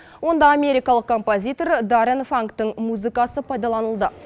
онда америкалық композитор даррен фангтің музыкасы пайдаланылды